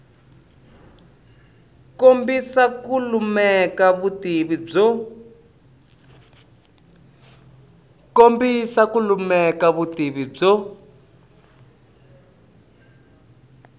kombisa ku lemuka vutivi byo